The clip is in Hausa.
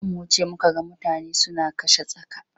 Da za mu wuce muka ga mutane suna kashe tsaka.